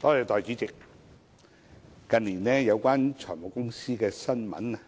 代理主席，近年有關財務公司的新聞